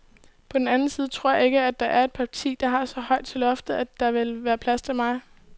På den anden side tror jeg ikke, at der er et parti, der har så højt til loftet, at der ville være plads til mig.